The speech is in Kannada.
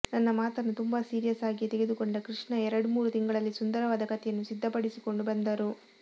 ನನ್ನ ಮಾತನ್ನು ತುಂಬಾ ಸೀರಿಯಸ್ ಆಗಿಯೇ ತೆಗೆದುಕೊಂಡ ಕೃಷ್ಣ ಎರಡ್ಮೂರು ತಿಂಗಳಲ್ಲಿ ಸುಂದರವಾದ ಕಥೆಯನ್ನು ಸಿದ್ಧಪಡಿಸಿಕೊಂಡು ಬಂದರು